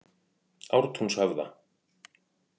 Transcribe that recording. Ártúnshöfða